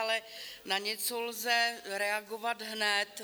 Ale na něco lze reagovat hned.